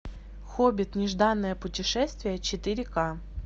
хоббит нежданное путешествие четыре ка